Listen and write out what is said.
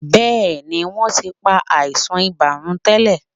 Bẹ́ẹ̀ ni, wọ́n ti pa àìsàn ibà run tẹ́lẹ̀.